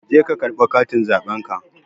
Je ka karɓo katin zaɓenka